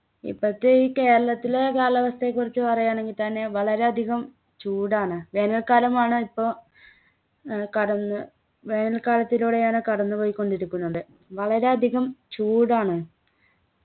ഇപ്പത്തെ ഈ കേരളത്തിലെ കാലാവസ്ഥയെക്കുറിച്ച് പറയാണെങ്കി തന്നെ വളരെ അധികം ചൂടാണ് വേനൽക്കാലമാണ് ഇപ്പൊ ഏർ കടന്ന് വേനൽക്കാലത്തിലൂടെയാണ് കടന്ന് പോയിക്കൊണ്ടിരിക്കുന്നത് വളരെ അധികം ചൂടാണ്